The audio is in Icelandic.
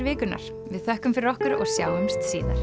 vikunnar við þökkum fyrir okkur og sjáumst síðar